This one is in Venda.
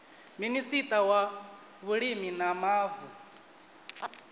minista wa vhulimi na mavu